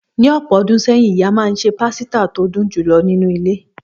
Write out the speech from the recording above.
Ní ọ̀pọ̀ ọdún sẹ́yìn, ìyá máa ń se pasita tó dùn jù lọ nínú ilé.